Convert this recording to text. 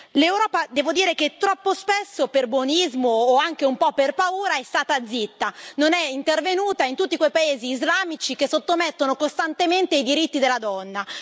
L'Europa, devo dire, troppo spesso per buonismo, o anche un po' per paura, è stata zitta, non è intervenuta in tutti quei paesi islamici che sottomettono costantemente i diritti della donna.